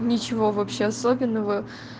ничего вообще особенного